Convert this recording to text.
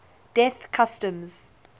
death customs